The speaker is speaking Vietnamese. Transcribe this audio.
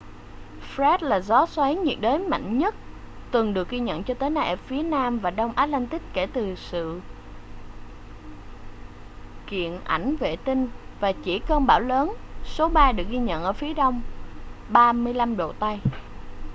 fred là gió xoáy nhiệt đới mạnh nhất từng được ghi nhận cho tới nay ở phía nam và đông atlantic kể từ hiện sự kiện ảnh vệ tinh và chỉ cơn bão lớn số ba được ghi nhận ở phía đông 35° tây